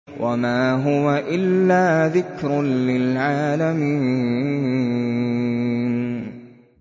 وَمَا هُوَ إِلَّا ذِكْرٌ لِّلْعَالَمِينَ